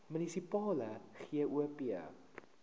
munisipale gop